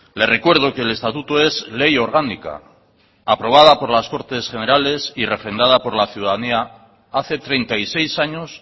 le recuerdo que el estatuto es ley orgánica aprobada por las cortes generales y refrendada por la ciudadanía hace treinta y seis años